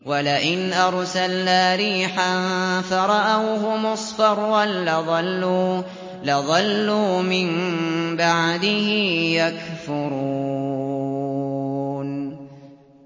وَلَئِنْ أَرْسَلْنَا رِيحًا فَرَأَوْهُ مُصْفَرًّا لَّظَلُّوا مِن بَعْدِهِ يَكْفُرُونَ